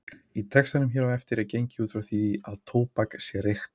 Í textanum hér á eftir er gengið út frá því að tóbak sé reykt.